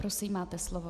Prosím, máte slovo.